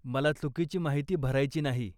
मला चुकीची माहिती भरायची नाही.